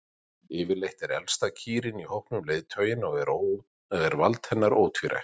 Yfirleitt er elsta kýrin í hópnum leiðtoginn og er vald hennar ótvírætt.